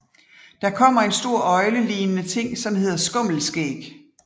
Der kommer en stor øgle ligende ting som hedder Skumleskæg